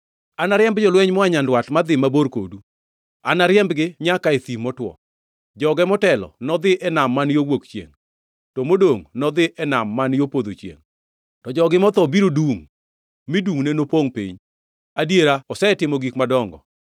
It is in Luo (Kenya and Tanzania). “Anariemb jolweny moa nyandwat madhi mabor kodu, anariembu nyaka e thim motwo, joge motelo nodhi e nam man yo wuok chiengʼ, to modongʼ nodhi e nam man yo podho chiengʼ. To jogi motho biro dungʼ, mi dungʼne nopongʼ piny.” Adiera osetimo gik madongo.